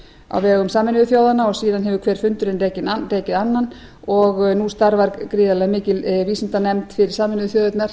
á vegum sameinuðu þjóðanna og síðan hefur hver fundurinn rekið annan og nú starfar gríðarlega mikil vísindanefnd fyrir sameinuðu þjóðirnar